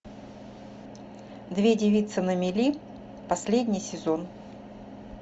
две девицы на мели последний сезон